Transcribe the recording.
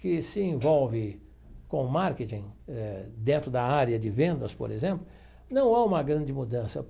que se envolve com marketing dentro da área de vendas, por exemplo, não há uma grande mudança.